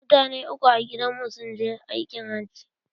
Mutane uku a gidan mu sun je aikin hajji.